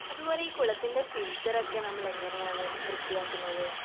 അതുപോലെ ഈ കുളത്തിൻ്റെ ഫിൽറ്ററൊക്കെ നമ്മളെങ്ങനെയാണ് വൃത്തിയാക്കുന്നത്?